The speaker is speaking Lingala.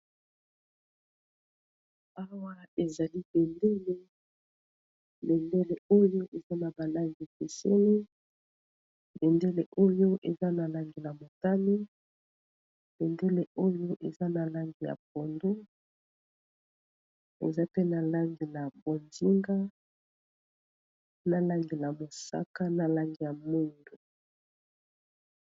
Awa ezali bendele. Bendele oyo, eza na ba langi ekeseni. Bendele oyo, eza na langi na botani, bendele oyo eza na langi ya pondu, eza pe na langi na bozinga, na langi na mosaka, na langi ya mwindu.